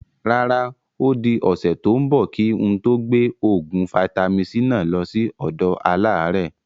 Rárá, odi ọ̀sẹ̀ tòun bọ̀ kí n tó gbé oògùn vitamin-c náà lọ síí ọ̀dọ àlàrẹ́